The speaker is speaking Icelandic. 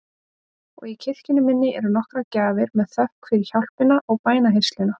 Og í kirkjunni minni eru nokkrar gjafir með þökk fyrir hjálpina og bænheyrsluna.